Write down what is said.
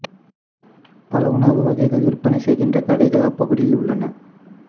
பல உணவு வகைகளை விற்பனை செய்கின்ற கடைகள் அப்பகுதியில் உள்ளன